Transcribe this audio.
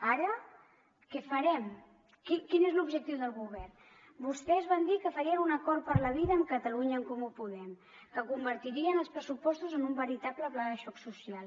ara què farem quin és l’objectiu del govern vostès van dir que farien un acord per a la vida amb catalunya en comú podem que convertirien els pressupostos en un veritable pla de xoc social